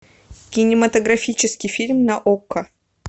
кинематографический фильм на окко